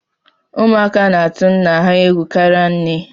Ụmụaka na-atụ nna ha egwu karịa nne